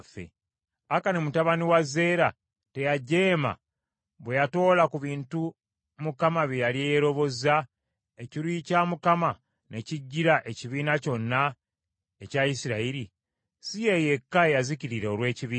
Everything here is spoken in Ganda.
Akani mutabani wa Zeera teyajeema bwe yatoola ku bintu Mukama bye yali yeerobozza, ekiruyi kya Mukama ne kijjira ekibiina kyonna ekya Isirayiri? Si ye yekka eyazikirira olw’ekibi kye.’ ”